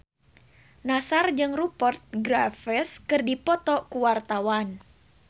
Nassar jeung Rupert Graves keur dipoto ku wartawan